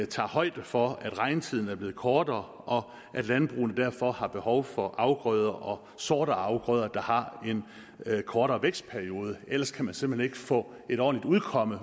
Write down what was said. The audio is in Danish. tager højde for at regntiden er blevet kortere og at landbrugene derfor har behov for afgrøder og sorter af afgrøder der har en kortere vækstperiode ellers kan man simpelt hen ikke få et ordentligt udkomme